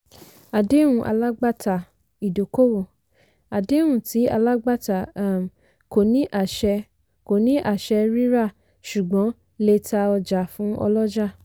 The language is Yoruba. àdéhùn alágbàtà-ìdókòwò - àdéhùn tí alágbàtà um kò ní àṣẹ kò ní àṣẹ ríra ṣùgbọ́n lè ta ọjà fún ọlọ́jà.